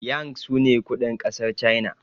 yang sune kudin kasar china